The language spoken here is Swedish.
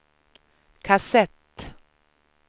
kassett